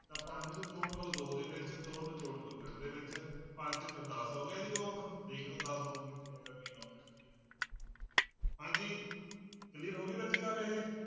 ਤਾਂ ਪੰਜ ਨੂੰ ਜੋੜ ਲਓ ਦੋ ਦੇ ਵਿੱਚ ਦੋ ਨੂੰ ਜੋੜ ਲਓ ਤਿੰਨ ਦੇ ਵਿੱਚ, ਪੰਜ ਦਸ ਹੋ ਗਿਆ ਜੀ ਦੇਖ ਲਓ ਕਿੱਥੇ ਹੈਗਾ ਹਾਂਜੀ clear ਹੋ ਗਈ ਬੱਚੇ ਗੱਲ ਇਹ।